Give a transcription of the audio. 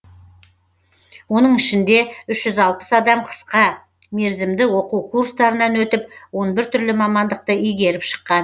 оның ішінде үш жүз алпыс адам қысқа мерзімді оқу курстарынан өтіп он бір түрлі мамандықты игеріп шыққан